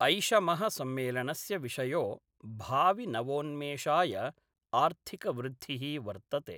ऐषम: सम्मेलनस्य विषयो भाविनवोन्मेषाय आर्थिकवृद्धि: वर्तते।